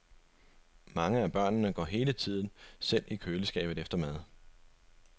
Mange af børnene går hele tiden selv i køleskabet efter mad.